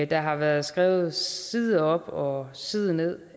der har været skrevet side op og side ned